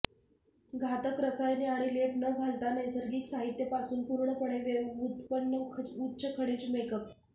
घातक रसायने आणि लेप न घालता नैसर्गिक साहित्य पासून पूर्णपणे व्युत्पन्न उच्च खनिज मेकअप